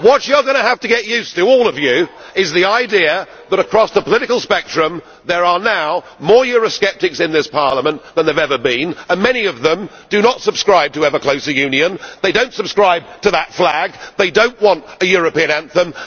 What you are going to have to get used to all of you is the idea that across the political spectrum there are now more Eurosceptics in this Parliament than there have ever been, and many of them do not subscribe to ever closer union, they do not subscribe to that flag and they do not want a European anthem.